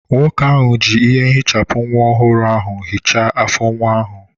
Nwoke ahụ ji ihe ehichapụ nwa ọhụrụ ahụ hichaa afọ nwa ahụ.